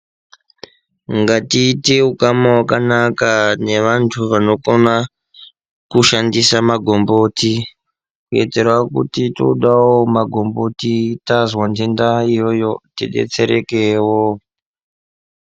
Ngatiite ukama hwakanaka nevantu vanokona kushandisa magomboti kuitira kuti toodawo magomboti tazwa nhenda iyoyo tidetserekewo.